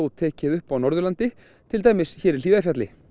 tekið upp á Norðurlandi til dæmis hér í Hlíðarfjalli